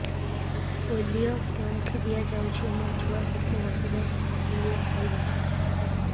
polio କେଉଁଠି ଦିଆଯାଉଛି ମୋ ଛୁଆ କେତେ ବର୍ଷ ଯାଏଁ ପୋଲିଓ ଖାଇବ